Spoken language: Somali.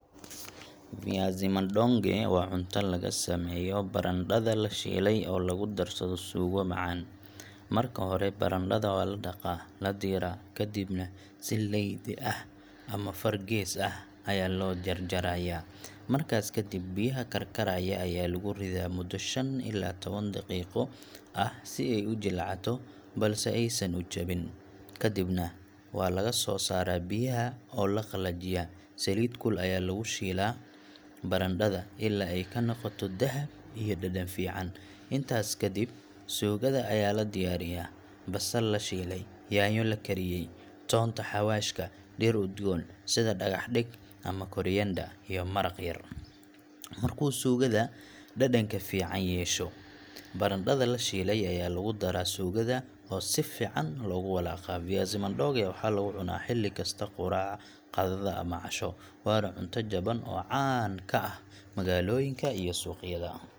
Viazi madonge waa cunto laga sameeyo barandhada la shiilay oo lagu darsado suugo macaan. Marka hore, barandhada waa la dhaqaa, la diiraa, kadibna si leydi ah ama afar gees ah ayaa loo jarjarayaa. Markaas kadib, biyaha karkaraya ayaa lagu riddaa muddo shan ilaa tawan daqiiqo ah si ay u jilcato balse aysan u jabin. Kadibna waa laga soo saaraa biyaha oo la qalajiyaa. Saliid kulul ayaa lagu shiilaa barandhada ilaa ay ka noqoto dahab iyo dhadhan fiican. Intaas kadib, suugada ayaa la diyaariyaa — basal la shiilay, yaanyo la kariyay, toonta, xawaashka, dhir udgoon sida dhagax-dheg ama koriander, iyo maraq yar. Markuu suugada dhadhanka fiican yeesho, barandhada la shiilay ayaa lagu daraa suugada oo si fiican loogu walaaqaa. Viazi madonge waxaa lagu cunaa xilli kasta quraac, qadada ama casho waana cunto jaban oo caan ka ah magaalooyinka iyo suuqyada.